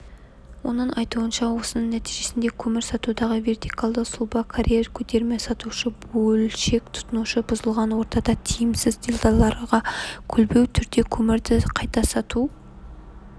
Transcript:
оның айтуынша осының нәтижесінде көмір сатудағы вертикальды сұлба карьер көтерме сатушы бөлшек тұтынушы бұзылған ортада тиімсіз делдалдарға көлбеу түрде көмірді қайта сату